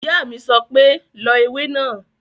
Ìyá mi sọ pé "lọ ewé náà!"